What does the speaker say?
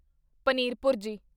paneer ਭੁਰਜੀ